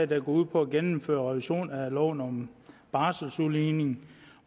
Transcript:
der går ud på at gennemføre en revision af loven om barseludligning